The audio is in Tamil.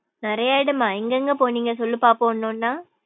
நிறையா இடம்மா எங்க எங்க போனிங்க சொல்லு பாப்போம் ஒன்னு ஒன்னா.